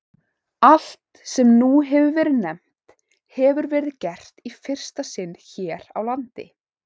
Allt, sem nú hefir verið nefnt, hefir verið gert í fyrsta sinn hér á landi.